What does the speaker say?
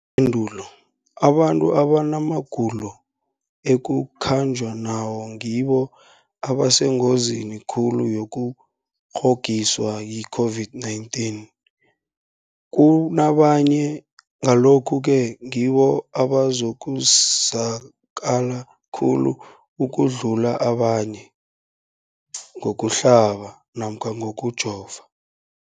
pendulo, abantu abanamagulo ekukhanjwa nawo ngibo abasengozini khulu yokukghokghiswa yi-COVID-19 kunabanye, Ngalokhu-ke ngibo abazakusizakala khulu ukudlula abanye ngokuhlaba namkha ngokujova.